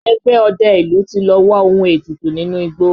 Ẹgbẹ́ ọdẹ ìlú ti lọ wá ohun ètùtù nínú igbó